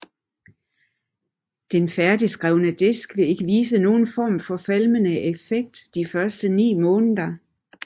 Den færdigskrevne disk vil ikke vise nogen form for falmende effekt de første 9 måneder